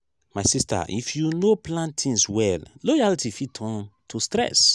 my sista if you no plan tins well loyalty fit turn to stress.